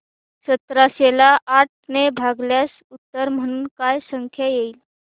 सतराशे ला आठ ने भागल्यास उत्तर म्हणून काय संख्या येईल